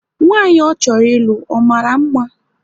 Nwanyị ọ chọrọ ịlụ, ọ mara mma?